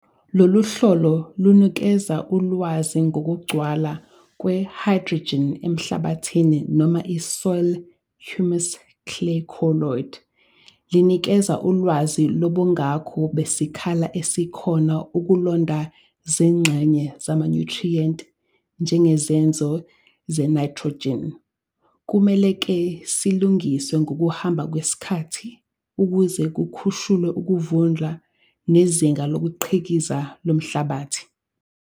Lolu hlolo lunikeza ulwazi ngokugcwala kwehayidrjini emhlabathini noma isoil humus clay colloid. Lunikeza ulwazi lobungako besikhala esikhona ukulonda zingxenye zamanyuthriyenti njengezenzo zenayithrojini. Kumele-ke silungiswe ngokuhamba kwesikhathi ukuze kukhushulwe ukuvunda nezinga lokukhiqiza lomhlabathi.